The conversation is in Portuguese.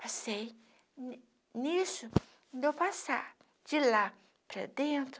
Passei, ni nisso, deu passar de lá para dentro,